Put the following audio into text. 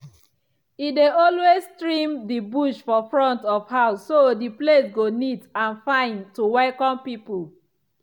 e dey always trim the bush for front of house so the place go neat and fine to welcome people.